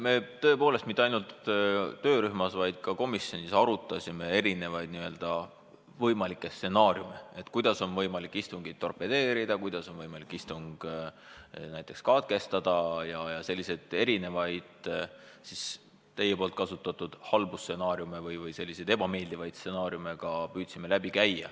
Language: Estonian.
Me tõepoolest mitte ainult töörühmas, vaid ka komisjonis arutasime erinevaid võimalikke stsenaariume, kuidas on võimalik istungit torpedeerida, kuidas on võimalik istung näiteks katkestada ja muid halbu või ebameeldivaid stsenaariume ka püüdsime läbi käia.